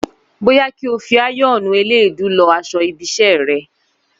Bóyá kí o fi áyọ́ọ̀nù eléèédu lọ aṣọ ibi iṣẹ́ rẹ